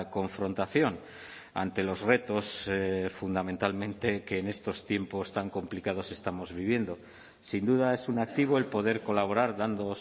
confrontación ante los retos fundamentalmente que en estos tiempos tan complicados estamos viviendo sin duda es un activo el poder colaborar dando